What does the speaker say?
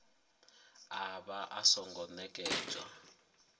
a vha a songo nekedzwa